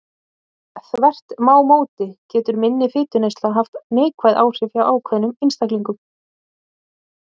Þvert má móti getur minni fituneysla haft neikvæð áhrif hjá ákveðnum einstaklingum.